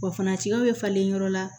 Wa furancɛw bɛ falen yɔrɔ la